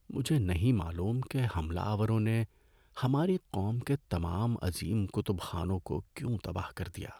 مجھے نہیں معلوم کہ حملہ آوروں نے ہماری قوم کے تمام عظیم کتب خانوں کو کیوں تباہ کر دیا۔